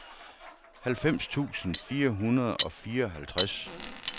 halvfems tusind fire hundrede og fireoghalvtreds